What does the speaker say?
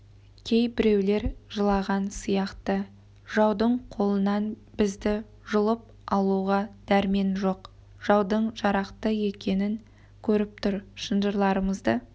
кейбіреулер жылаған сияқты жаудың қолынан бізді жұлып алуға дәрмен жоқ жаудың жарақты екенін көріп тұр шынжарларымызды